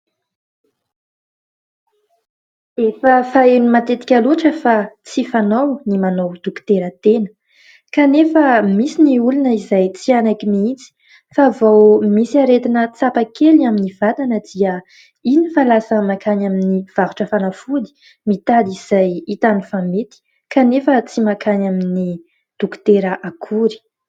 Efa faheno matetika loatra fa tsy fanao ny manao dokotera tena kanefa misy ny olona izay tsy hanaiky mihitsy fa vao misy aretina tsapa kely amin'ny vatana dia iny fa lasa mankany amin'ny mpivarotra fanafody mitady izay hitany fa mety kanefa tsy mankany amin'ny dokotera akory.